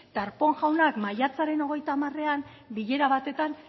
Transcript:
darpón jaunak maiatzaren hogeita hamareran bilera batean